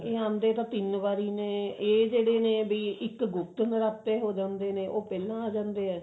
ਇਹ ਅੰਡੇ ਤਾਂ ਤਿੰਨ ਵਾਰੀ ਨੇ ਇਹ ਜਿਹੜੇ ਨੇ ਬੀ ਇੱਕ ਗੁਪਤ ਨਰਾਤੇ ਹੋ ਜਾਂਦੇ ਨੇ ਉਹ ਪਹਿਲਾਂ ਆ ਜਾਂਦੇ ਨੇ